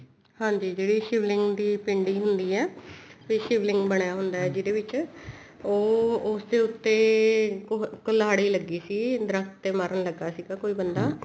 ਹਾਂਜੀ ਜਿਹੜੀ ਸ਼ਿਵ ਲਿੰਗ ਦੀ ਪਿੰਡੀ ਹੁੰਦੀ ਆ ਤੇ ਸ਼ਿਵਲਿੰਗ ਬਣਿਆ ਹੁੰਦਾ ਜਿਹਦੇ ਵਿੱਚ ਉਹ ਉਸ ਦੇ ਉੱਤੇ ਕੁਲਹਾੜੀ ਲੱਗੀ ਸੀ ਦਰਖਤ ਤੇ ਮਾਰਨ ਲੱਗਾ ਸੀਗਾ ਕੋਈ ਬੰਦਾ